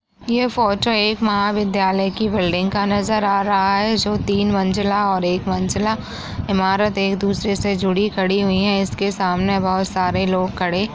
यह फोटो एक महाविद्यालय की बिल्डिंग का नजर आ रहा है जो तीन मंज़िला और एक मंज़िला इमारत एक दूसरे से जुड़ी खड़ी हुई है इसके सामने बहुत सारे लोग खड़े --